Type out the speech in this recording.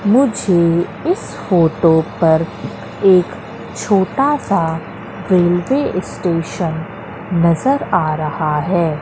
मुझे इस फोटो पर एक छोटासा रेल्वे स्टेशन नजर आ रहा है।